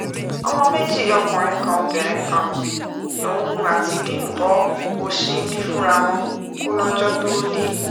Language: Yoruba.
ọmọ méjì ọkùnrin kan obìnrin kan lòun àti bímbọ òṣín bí fúnra wọn kólọ́jọ́ tóo dé